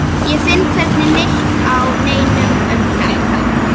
Ég finn hvergi neitt á netinu um þetta.